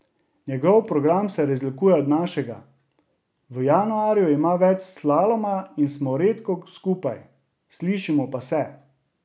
Njegov program se razlikuje od našega, v januarju ima več slaloma in smo redko skupaj, slišimo pa se.